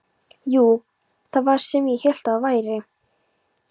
Jú, það var sá sem ég hélt að það væri!